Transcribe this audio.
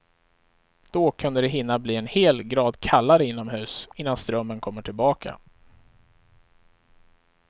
Då kunde det hinna bli en hel grad kallare inomhus innan strömmen kommer tillbaka.